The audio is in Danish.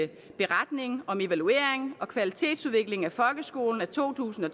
beretning om evaluering og kvalitetsudvikling af folkeskolen to tusind og